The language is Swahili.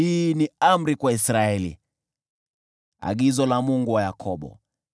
hii ni amri kwa Israeli, agizo la Mungu wa Yakobo.